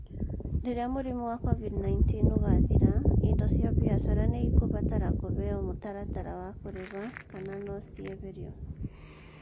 Rĩrĩa mũrimũ wa COVID-19 ũgaathira, indo cia biacara nĩ ikũbatara kũheo mũtaratara wa kũrĩha kana no cieherio